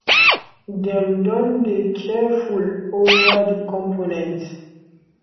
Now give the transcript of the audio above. dem don dey careful ova di components